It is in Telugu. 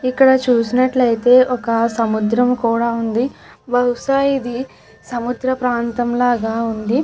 ఇక్కడ చూసినట్టయితే ఒక సముద్రం కూడా వుంది. బహుశా ఇది సముద్ర ప్రాంతంలాగా ఉంది.